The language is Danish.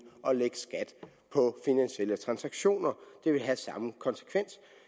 at lægge skat på finansielle transaktioner det vil have samme konsekvens